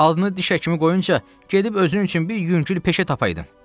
Adını diş həkimi qoyunca gedib özün üçün bir yüngül peşə tapaydın.